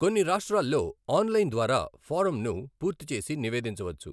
కొన్ని రాష్ట్రాల్లో ఆన్లైన్ ద్వారా ఫారంను పూర్తి చేసి నివేదించవచ్చు.